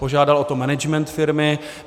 Požádal o to management firmy.